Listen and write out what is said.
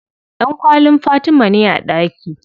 Ɗankwallin Fatima ne a ɗaki.